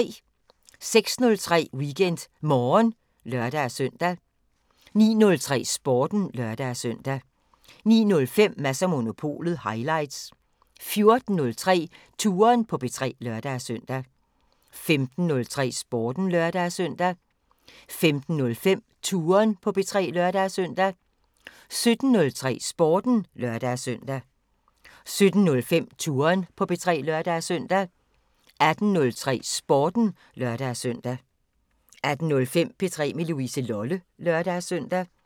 06:03: WeekendMorgen (lør-søn) 09:03: Sporten (lør-søn) 09:05: Mads & Monopolet highlights 14:03: Touren på P3 (lør-søn) 15:03: Sporten (lør-søn) 15:05: Touren på P3 (lør-søn) 17:03: Sporten (lør-søn) 17:05: Touren på P3 (lør-søn) 18:03: Sporten (lør-søn) 18:05: P3 med Louise Lolle (lør-søn)